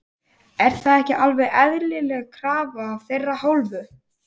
Er það ekki alveg eðlileg krafa af þeirra hálfu?